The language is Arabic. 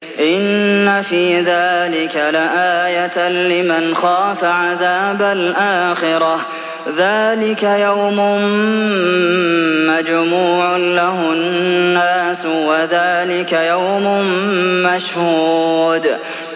إِنَّ فِي ذَٰلِكَ لَآيَةً لِّمَنْ خَافَ عَذَابَ الْآخِرَةِ ۚ ذَٰلِكَ يَوْمٌ مَّجْمُوعٌ لَّهُ النَّاسُ وَذَٰلِكَ يَوْمٌ مَّشْهُودٌ